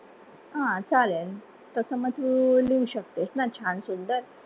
हा चालेल, तसं मग तु लिहू शकतेस ना छान सुंदर